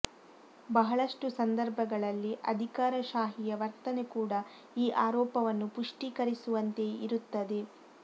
ಬಹಳಷ್ಟು ಸಂದರ್ಭಗಳಲ್ಲಿ ಅಧಿಕಾರಶಾಹಿಯ ವರ್ತನೆ ಕೂಡ ಈ ಆರೋಪವನ್ನು ಪುಷ್ಟೀಕರಿಸುವಂತೆಯೇ ಇರುತ್ತದೆ